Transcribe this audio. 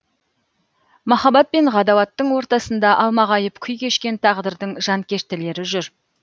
махаббат пен ғадауаттың ортасында алмағайып күй кешкен тағдырдың жанкештілері жүр